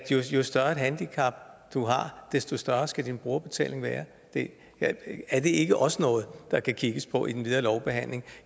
jo større et handicap du har desto større skal din brugerbetaling være er det ikke også noget der kan kigges på i den videre lovbehandling